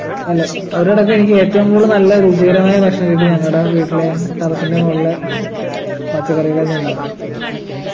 അല്ല അവരോടൊക്കെ എനിക്കേറ്റവും കൂടുതൽ നല്ല രുചികരമായ ഭക്ഷണം കിട്ടി ഞങ്ങടെ വീട്ടിലെ terrace ൻ്റെ മോളിലെ ഹും പച്ചക്കറികളിൽ നിന്നാണ്